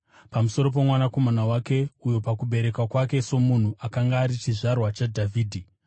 pamusoro poMwanakomana wake, uyo pakuberekwa kwake somunhu akanga ari chizvarwa chaDhavhidhi,